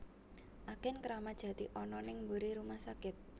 Agen Kramat Jati ana ning mburi rumah sakit